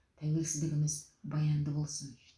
тәуелсіздігіміз баянды болсын